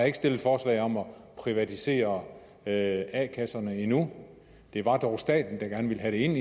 ikke stillet forslag om at privatisere a kasserne endnu det var dog staten der gerne ville have det ind